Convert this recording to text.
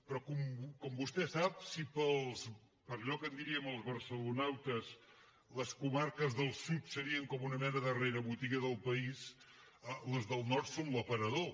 però com vostè sap si per allò que en diríem els barcelonautes les comarques del sud serien com una mena de rerebotiga del país les del nord són l’aparador